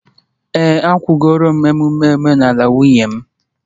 Ee, akwụgoro m emume omenala nwunye m